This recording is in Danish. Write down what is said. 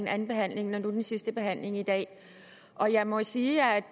andenbehandlingen og nu den sidste behandling i dag og jeg må sige at